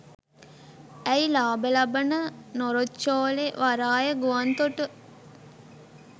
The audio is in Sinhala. ඇයි ලාභ ලබන නොරොච්චෝලේ වරාය ගුවන්තොට